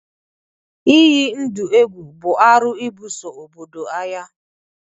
Ịyi ndụ egwu bụ arụ ịbuso obodo agha